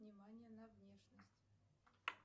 внимание на внешность